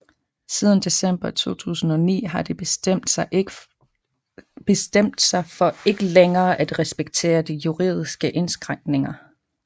Siden december 2009 har de bestemt sig for ikke længere at respektere de juridiske indskrænkninger